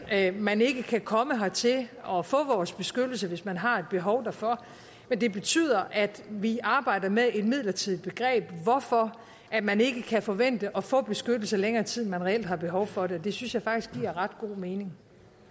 at man ikke kan komme hertil og få vores beskyttelse hvis man har et behov derfor men det betyder at vi arbejder med et midlertidigt begreb hvorfor man ikke kan forvente at få beskyttelse i længere tid end man reelt har behov for det det synes jeg faktisk giver ret god mening